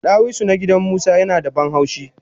Dawisu na gidan musa yinada banhaushi